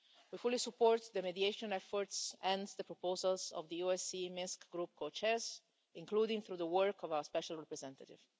We fully support the mediation efforts and the proposals of the OSCE Minsk Group Co Chairs, including through the work of our Special Representative.